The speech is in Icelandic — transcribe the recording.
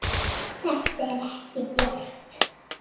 Þetta er ekki bjart.